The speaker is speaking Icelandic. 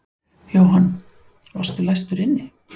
Jóhann: Varstu læstur inni?